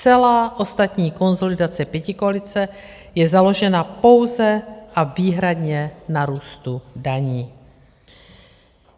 Celá ostatní konsolidace pětikoalice je založena pouze a výhradně na růstu daní.